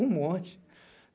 Um monte.